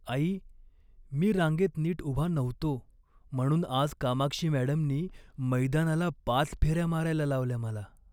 आई, मी रांगेत नीट उभा नव्हतो म्हणून आज कामाक्षी मॅडमनी मैदानाला पाच फेऱ्या मारायला लावल्या मला.